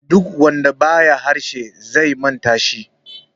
duk wanda ba ya harshe zai manta shi